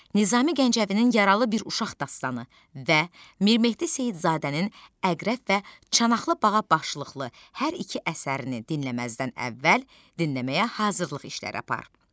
Nizami Gəncəvinin yaralı bir uşaq dastanı və Mirmehdi Seyidzadənin Əqrəb və çanaqlı bağa başlıqlı hər iki əsərini dinləməzdən əvvəl dinləməyə hazırlıq işləri apar.